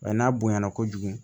n'a bonyana kojugu